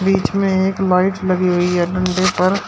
बीच में एक लाइट लगी हुई है डंडे पर--